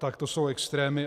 Tak to jsou extrémy.